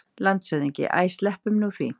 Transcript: LANDSHÖFÐINGI: Æ, sleppum nú því!